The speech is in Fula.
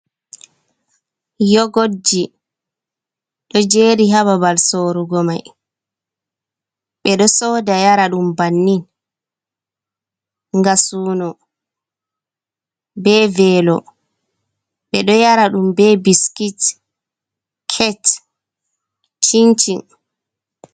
Yogodji ɗo jeri ha ɓaɓal sorugo mai, ɓe ɗo soɗa yara ɗum ɓannin nga suno ɓe velo, ɓe ɗo yara ɗum ɓe ɓiskit ket cincin.